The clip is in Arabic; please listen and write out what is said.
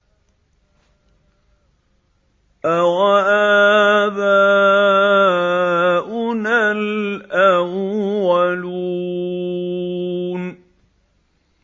أَوَآبَاؤُنَا الْأَوَّلُونَ